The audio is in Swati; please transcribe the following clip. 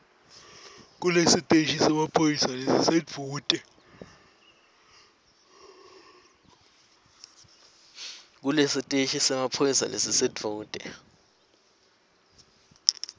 kulesiteshi semaphoyisa lesisedvute